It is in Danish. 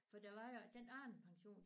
For der var jo den anden pension